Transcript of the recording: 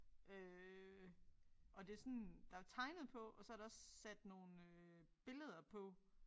Øh og det sådan der tegnet på og så der også sat nogle øh billeder på